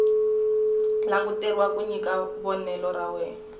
languteriwa ku nyika vonelo ra